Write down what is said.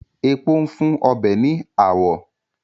Epo ń fún ọbẹ̀ ní àwọ̀